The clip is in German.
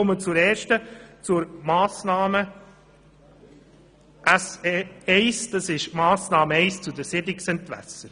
Zu den Planungserklärungen 3 und 4: Es geht um die Massnahme SE-1 zur Siedlungsentwässerung.